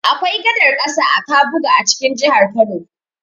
Akwai gadar ƙasa a Kabuga a cikin jihar Kano.